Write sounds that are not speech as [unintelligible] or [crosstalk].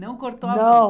Não cortou a. [unintelligible] Não